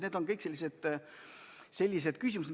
Need on kõik sellised küsimused.